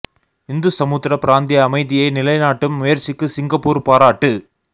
இந்து சமுத்திர பிராந்திய அமைதியை நிலைநாட்டும் முயற்சிக்கு சிங்கப்பூர் பாராட்டு